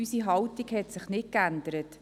Unsere Haltung hat sich nicht geändert.